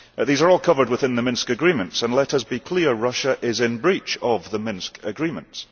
These are all covered within the Minsk Agreements and, let us be clear, Russia is in breach of the Minsk Agreements.